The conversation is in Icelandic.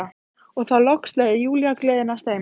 Og þá loks leyfði Júlía gleðinni að streyma.